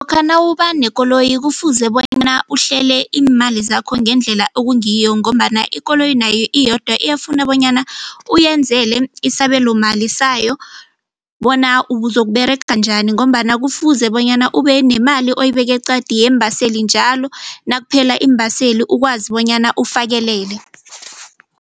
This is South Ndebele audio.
Lokha nawuba nekoloyi kufuze bonyana uhlele iimali zakho ngendlela okungiyo ngombana ikoloyi nayo iyodwa iyafuna bonyana uyenzele isabelomali sayo bona uzokuberega njani ngombana kufuze bonyana ube nemali oyibeke eqadi yeembaseli njalo nakuphela iimbaseli ukwazi bonyana ufakelele.